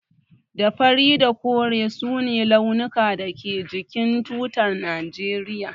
Da fari da kore su ne launukan da ke jikin tutar najeriya.